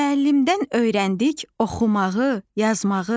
Müəllimdən öyrəndik oxumağı, yazmağı.